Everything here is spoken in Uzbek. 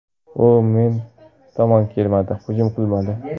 U men tomon kelmadi, hujum qilmadi.